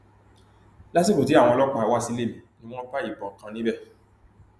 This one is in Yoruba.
lásìkò tí àwọn ọlọpàá wá sílé mi ni wọn bá ìbọn kan níbẹ